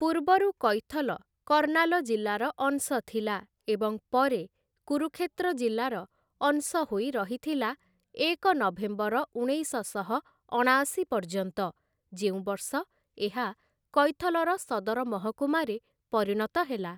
ପୂର୍ବରୁ କୈଥଲ, କର୍ଣ୍ଣାଲ ଜିଲ୍ଲାର ଅଂଶ ଥିଲା ଏବଂ ପରେ କୁରୁକ୍ଷେତ୍ର ଜିଲ୍ଲାର ଅଂଶ ହୋଇ ରହିଥିଲା ଏକ ନଭେମ୍ବର ଉଣେଇଶଶହ ଅଣାଅଶି ପର୍ଯ୍ୟନ୍ତ, ଯେଉଁ ବର୍ଷ ଏହା କୈଥଲର ସଦର ମହକୁମାରେ ପରିଣତ ହେଲା ।